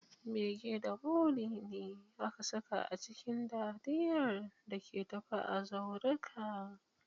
Bege da buri ne aka saka a cikin dariyar da ke tafe a zauruka